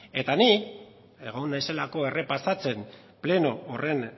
eta ni egon naizelako errepasatzen pleno horren